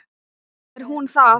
Er hún það?